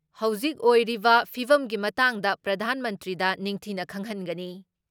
ꯍꯧꯖꯤꯛ ꯑꯣꯏꯔꯤꯕ ꯐꯤꯕꯒꯤ ꯃꯇꯥꯡꯗ ꯄ꯭ꯔꯙꯥꯟ ꯃꯟꯇ꯭ꯔꯤꯗ ꯅꯤꯡꯊꯤꯅ ꯈꯪꯍꯟꯒꯅꯤ ꯫